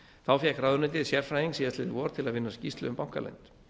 þá fékk ráðuneytið sérfræðing síðastliðið vor til að vinna skýrslu um bankaleynd